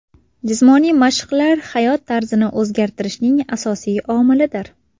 Jismoniy mashqlar hayot tarzini o‘zgartirishning asosiy omilidir.